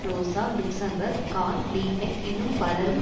ரோசா Luxemburg Karl Liebknecht இன்னும் பலரும்